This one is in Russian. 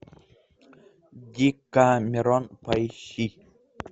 декамерон поищи